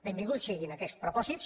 benvinguts siguin aquests propòsits